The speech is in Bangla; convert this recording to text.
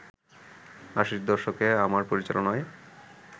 আশির দশকে আমার পরিচালনায়